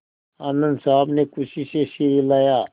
आनन्द साहब ने खुशी से सिर हिलाया